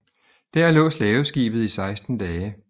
Der lå slaveskibet i 16 dage